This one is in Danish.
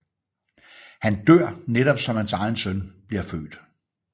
Han dør netop som hans egen søn bliver født